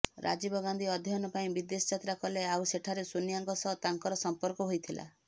ରାଜୀବ ଗାନ୍ଧୀ ଅଧ୍ୟୟନ ପାଇଁ ବିଦେଶ ଯାତ୍ରା କଲେ ଆଉ ସେଠାରେ ସୋନିଆଙ୍କ ସହ ତାଙ୍କର ସମ୍ପର୍କ ହୋଇଥିଲା